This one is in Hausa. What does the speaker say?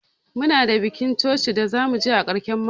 Muna da bikin coci da zamu je a karshen mako.